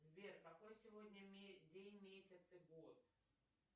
сбер какой сегодня день месяц и год